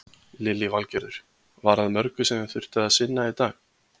Lillý Valgerður: Var að mörgu sem þið þurftu að sinna í dag?